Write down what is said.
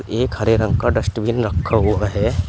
एक हरे रंग का डस्टबिन रखा हुआ है।